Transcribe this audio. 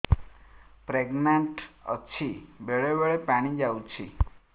pregnant ଅଛି ବେଳେ ବେଳେ ପାଣି ଯାଉଛି